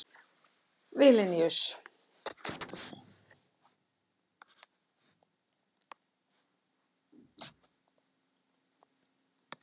Vilníus